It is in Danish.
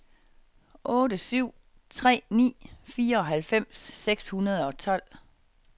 otte syv tre ni fireoghalvfems seks hundrede og tolv